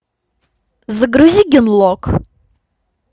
загрузи генлок